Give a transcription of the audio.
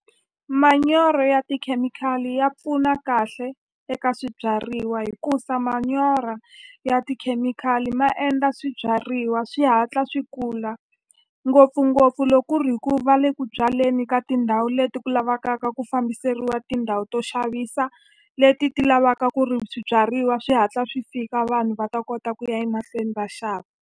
Manyoro ya tikhemikhali ya pfuna kahle eka swibyariwa hikusa manyoro ya tikhemikhali ma endla swibyariwa swi hatla swi kula ngopfungopfu loko ku ri hi ku va le ku byaleni ka tindhawu leti ku lavakaka ku fambiseriwa tindhawu to xavisa leti ti lavaka ku ri swibyariwa swi hatla swi fika vanhu va ta kota ku ya emahlweni va xava.